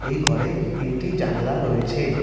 এই ঘরে তিনটি জানালা রয়েছে।